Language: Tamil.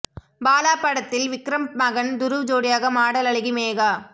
பாலா படத்தில் விக்ரம் மகன் துருவ் ஜோடியாக மாடல் அழகி மேகா